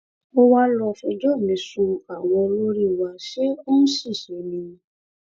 ó wá lọ fẹjọ mi sun àwọn olórí wa ṣé ó ń ṣiṣẹ ni